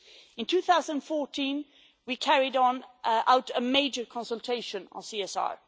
In 2014 we carried out a major consultation on CSR.